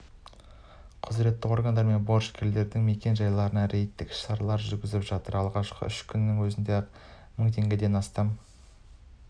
құзыретті органдармен борышкерлердің мекен-жайларына рейдтік іс-шаралар жүргізіп жатыр алғашқы үш күннің өзінде-ақ мың теңгеден астам